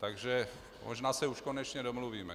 Takže možná se už konečně domluvíme.